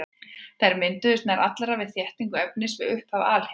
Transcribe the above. Þær mynduðust nær allar við þéttingu efnis við upphaf alheimsins.